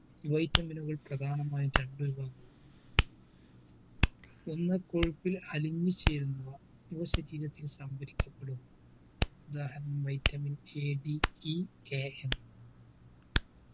vitamin നുകൾ പ്രധാനമായും രണ്ടു വിഭവങ്ങളാണ് ഒന്ന് കൊഴുപ്പിൽ അലിഞ്ഞുചേരുന്നവ ഇവ ശരീരത്തിന് സ്വാന്തനിക്കപ്പെടുന്നു ഉദാഹരണം vitamin AEBK